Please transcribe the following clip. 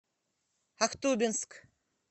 ахтубинск